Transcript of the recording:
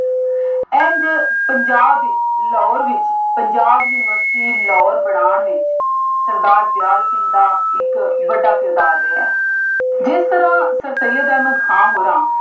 ਇੰਝ ਪੰਜਾਬ ਲਾਹੌਰ ਵਿੱਚ ਪੰਜਾਬ ਯੂਨੀਵਰਸਿਟੀ ਲਾਹੌਰ ਬਣਾਉਣ ਵਿੱਚ ਸਰਦਾਰ ਦਿਆਲ ਸਿੰਘ ਦਾ ਇੱਕ ਵੱਡਾ ਕਿਰਦਾਰ ਰਿਹਾ ਹੈ। ਜਿਸ ਤਰ੍ਹਾਂ ਸਰਸਈਅਦ ਅਹਿਮਦ ਖਾਨ ਹੋਰਾਂ